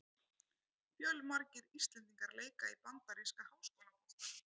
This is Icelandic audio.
Fjölmargir íslendingar leika í bandaríska háskólaboltanum.